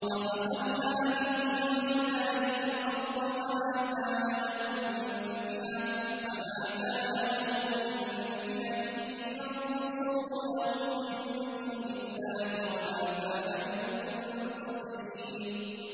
فَخَسَفْنَا بِهِ وَبِدَارِهِ الْأَرْضَ فَمَا كَانَ لَهُ مِن فِئَةٍ يَنصُرُونَهُ مِن دُونِ اللَّهِ وَمَا كَانَ مِنَ الْمُنتَصِرِينَ